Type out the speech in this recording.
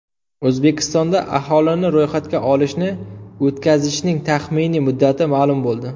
O‘zbekistonda aholini ro‘yxatga olishni o‘tkazishning taxminiy muddati ma’lum bo‘ldi.